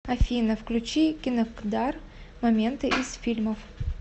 афина включи кинокдар моменты из фильмов